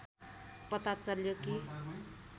पता चल्यो कि